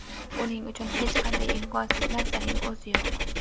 Uning uchun hech qanday imkonsiz narsaning o‘zi yo‘q.